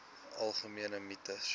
algemene mites